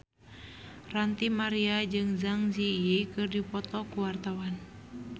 Ranty Maria jeung Zang Zi Yi keur dipoto ku wartawan